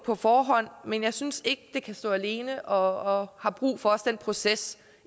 på forhånd men jeg synes ikke det kan stå alene og har også brug for processen